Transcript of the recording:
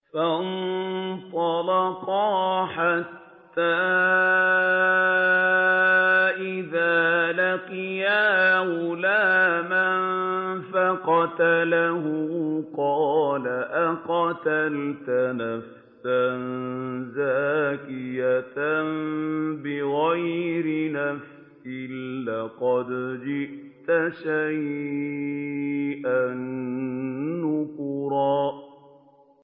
فَانطَلَقَا حَتَّىٰ إِذَا لَقِيَا غُلَامًا فَقَتَلَهُ قَالَ أَقَتَلْتَ نَفْسًا زَكِيَّةً بِغَيْرِ نَفْسٍ لَّقَدْ جِئْتَ شَيْئًا نُّكْرًا